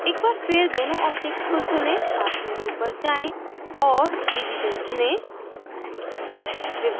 एक बार फिर दोनों objects को चुनें path menu पर जाएँ और division चुनें